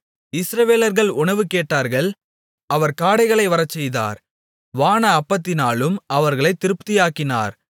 இஸ்ரவேலர்கள் உணவு கேட்டார்கள் அவர் காடைகளை வரச்செய்தார் வான அப்பத்தினாலும் அவர்களைத் திருப்தியாக்கினார்